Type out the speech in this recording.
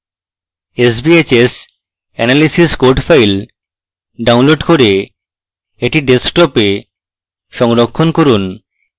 sbhs analysis code file download করে এটি ডেস্কটপে সংরক্ষণ করুন